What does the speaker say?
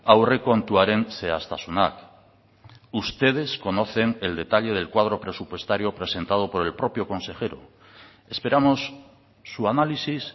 aurrekontuaren zehaztasunak ustedes conocen el detalle del cuadro presupuestario presentado por el propio consejero esperamos su análisis